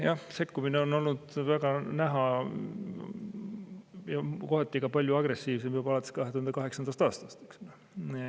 Jah, sekkumine on olnud väga näha ja see on kohati olnud ka palju agressiivsem juba alates 2008. aastast.